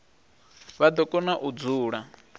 vha do kona u dzula